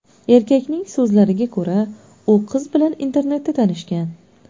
Erkakning so‘zlariga ko‘ra, u qiz bilan internetda tanishgan.